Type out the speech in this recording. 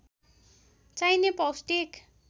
चाहिने पौष्टिक